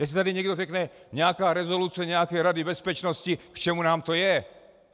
Jestli tady někdo řekne "nějaká rezoluce nějaké Rady bezpečnosti, k čemu nám to je?" -